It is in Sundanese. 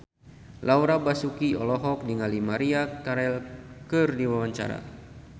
Laura Basuki olohok ningali Maria Carey keur diwawancara